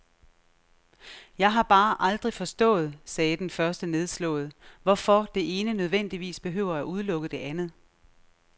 Jeg har bare aldrig forstået, sagde den første nedslået, hvorfor det ene nødvendigvis behøver at udelukke det andet.